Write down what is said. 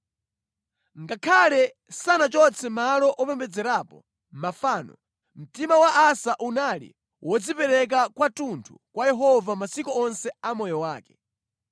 Ngakhale sanachotse malo opembedzerapo mafano, mtima wa Asa unali wodzipereka kwathunthu kwa Yehova masiku onse a moyo wake.